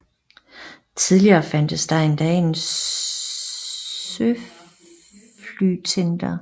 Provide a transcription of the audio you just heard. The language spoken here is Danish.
Tidligere fandtes der endda en søflytender